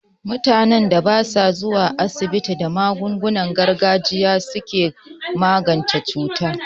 Mutanen da basu zuwa asibiti, da magungunan gargajiya suke magance cuta.